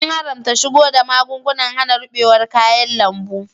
An haramta shigo da magugnan hana rubewar kayan lambu.